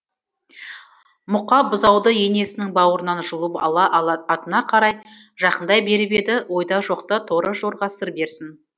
мұқа бұзауды енесінің бауырынан жұлып ала атына қарай жақындай беріп еді ойда жоқта торы жорға сыр берсін